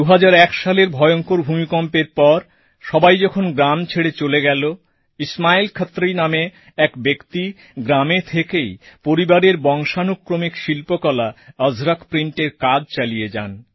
২০০১ সালের ভয়ঙ্কর ভূমিকম্পের পর সবাই যখন গ্রাম ছেড়ে চলে গেল ইসমাইল ক্ষত্রী নামে এক ব্যক্তি গ্রামে থেকেই পরিবারের বংশানুক্রমিক শিল্পকলা অজরক প্রিন্টের কাজ চালিয়ে যান